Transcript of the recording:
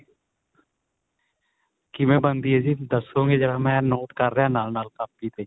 ਕਿਵੇਂ ਬਣਦੀ ਏ ਜੀ ਦੱਸੋਂਗੇ ਜਰਾ ਮੈਂ ਨੋਟ ਕ਼ਰ ਰਿਹਾ ਨਾਲ ਨਾਲ ਕਾਪੀ ਤੇ